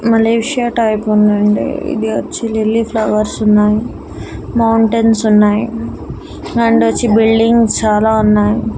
Malaysia type ఉందండి ఇది వచ్చి లిల్లీ ఫ్లవర్స్ ఉన్నాయి మౌంటైన్స్ ఉన్నాయి అండ్ వచ్చి బిడ్డింగ్స్ చాలా ఉన్నాయి.